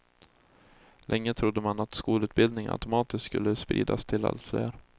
Länge trodde man att skolutbildning automatiskt skulle spridas till allt fler.